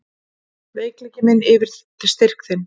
Veikleiki minn yfir styrk þinn.